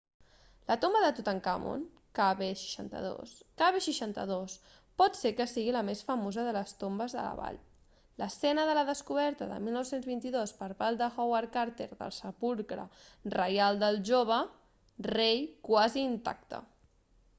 la tomba de tutankamon kv62. kv62 pot ser que sigui la més famosa de les tombes de la vall l'escena de la descoberta de 1922 per part de howard carter del sepulcre reial del jove rei quasi intacte